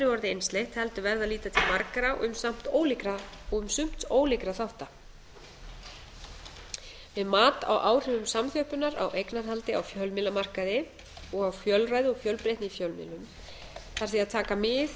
orðið einsleitt heldur verði að líta til margra og um sumt ólíkra þátta við mat á áhrifum samþjöppunar á eignarhaldi á fjölmiðlamarkaði og á fjölræði og fjölbreytni í fjölmiðlun þarf því að taka mið